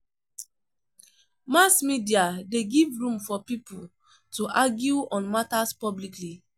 Mass media de give room for pipo to argue on matters publicly